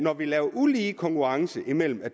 at vi laver ulige konkurrence når man